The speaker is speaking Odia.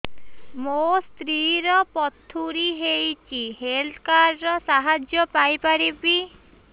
ମୋ ସ୍ତ୍ରୀ ର ପଥୁରୀ ହେଇଚି ହେଲ୍ଥ କାର୍ଡ ର ସାହାଯ୍ୟ ପାଇପାରିବି